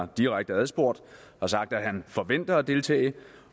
direkte adspurgt har sagt at han forventer at deltage